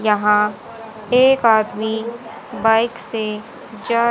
यहां एक आदमी बाइक से जा--